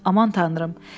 Aman tanrım.